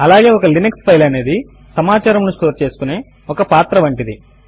అలాగే ఒక Linux file అనేది సమాచారమును స్టోర్ చేసుకునే ఒక పాత్ర వంటిది